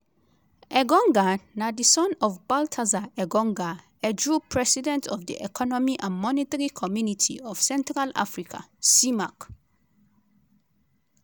engonga na di son of baltasar engonga edjoo president of di economic and monetary community of central africa (cemac).